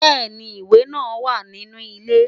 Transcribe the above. Bẹ́ẹ̀ni, ìwẹ̀ náà wà ní inú ilé.